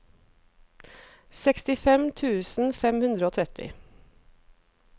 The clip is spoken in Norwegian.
sekstifem tusen fem hundre og tretti